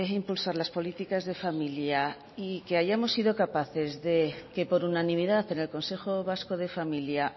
impulsar las políticas de familia y que hayamos sido capaces de que por unanimidad en el consejo vasco de familia